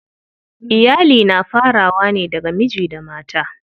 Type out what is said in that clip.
Iyali na farawa ne daga miji da mata.